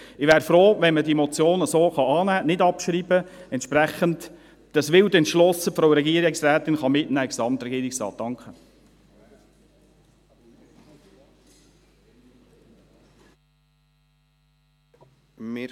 Ich bin froh, wenn Sie diese Motion annehmen können und sie nicht abschreiben, damit die Regierungsrätin das Anliegen wild entschlossen in den Gesamtregierungsrat mitnehmen kann.